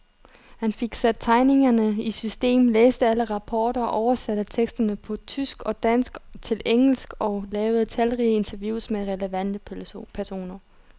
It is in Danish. Han fik sat tegningerne i system, læste alle rapporter, oversatte teksterne på tysk og dansk til engelsk og lavede talrige interviews med relevante personer.